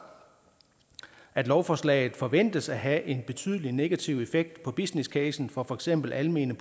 at lovforslaget forventes at have en betydelig negativ effekt på business casen for for eksempel almene